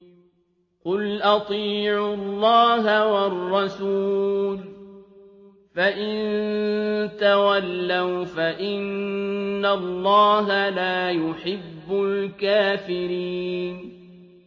قُلْ أَطِيعُوا اللَّهَ وَالرَّسُولَ ۖ فَإِن تَوَلَّوْا فَإِنَّ اللَّهَ لَا يُحِبُّ الْكَافِرِينَ